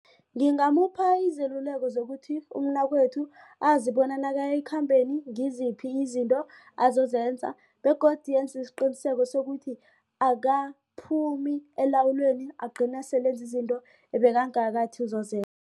Ngingamupha izeluleko zokuthi umnakwethu azibona nakaya ekhambeni ngiziphi izinto azozenza begodu enze isiqiniseko sokuthi akaphumi ekulawulweni agcine sele enze izinto ebekangakathi uzozenza.